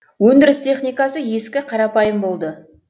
өндіріс техникасы ескі қарапайым болды